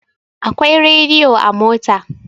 Akwai rediyo a mota.